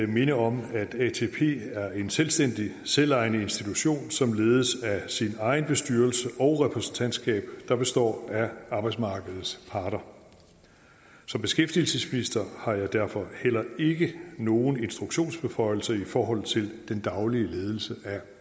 minde om at atp er en selvstændig selvejende institution som ledes af sin egen bestyrelse og repræsentantskab der består af arbejdsmarkedets parter som beskæftigelsesminister har jeg derfor heller ikke nogen instruktionsbeføjelser i forhold til den daglige ledelse af